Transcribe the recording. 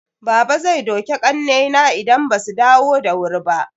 Baba zai duke ƙannaina idan basu dawo da wuri ba.